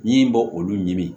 Ɲi bɛ olu ɲini